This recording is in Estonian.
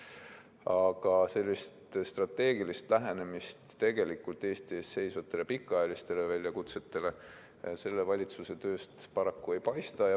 Aga strateegilist lähenemist Eesti ees seisvatele pikaajalistele väljakutsetele selle valitsuse tööst paraku ei paista.